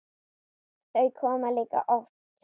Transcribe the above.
Þau koma líka of oft.